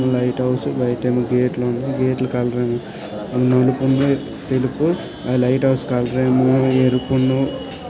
Light house . బయట ఏమో gate ల ఉన్నాయి. గేట్ ల కలరు నలుపు ఉన్నాయి తెలుపు. లైట్ హౌస్ కలర్ ఏమో ఎరుపును.